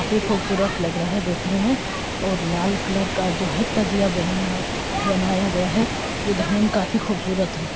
काफी खूबसूरत लग रहा है देखने में और लाल कलर का जो है तजिया बेहनाया बनाया गया है जो देखने में काफी खूबसूरत है।